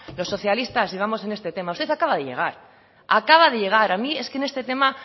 los socialistas llevamos en este tema usted acaba de llegar acaba de llegar a mí es que en este tema